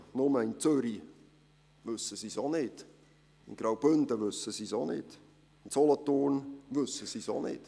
Nur, in Zürich wissen sie es auch nicht, auch im Graubünden und in Solothurn wissen sie es nicht.